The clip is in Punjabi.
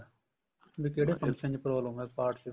ਵੀ ਕਿਹੜੇ function ਚ problem ਆ part ਚ